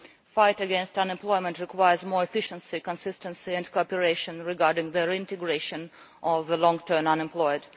Fighting unemployment requires more efficiency, consistency and cooperation regarding the integration of the long term unemployed.